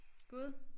Gud